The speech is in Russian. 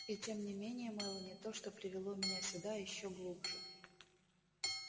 и тем не менее мелани то что привело меня сюда ещё глубже